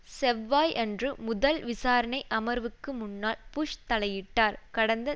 செவ்வாய் அன்று முதல் விசாரணை அமர்வுக்கு முன்னால் புஷ் தலையிட்டார் கடந்த